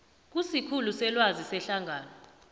kusikhulu selwazi sehlangano